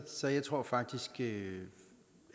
så jeg tror faktisk